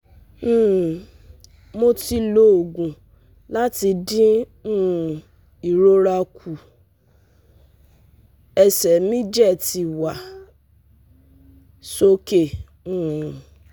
um mo ti lo ogun lati din um irora ku, ese mi je ti wa soke um